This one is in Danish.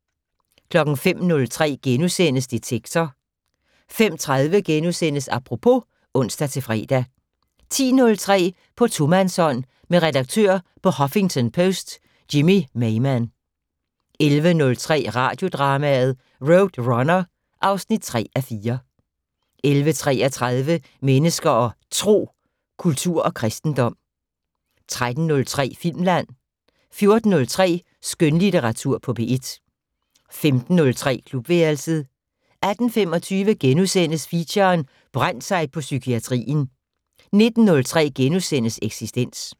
05:03: Detektor * 05:30: Apropos *(ons-fre) 10:03: På tomandshånd med redaktør på Huffington Post Jimmy Maymann 11:03: Radiodrama: RoadRunner (3:4) 11:33: Mennesker og Tro: Kultur og kristendom 13:03: Filmland 14:03: Skønlitteratur på P1 15:03: Klubværelset 18:25: Feature: Brændt sig på psykiatrien * 19:03: Eksistens *